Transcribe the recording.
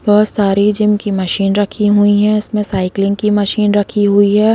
बहुत सारी जिम की मशीन राखी हुई है उनमें साइकिलिंग की मशीन राखी हुई है।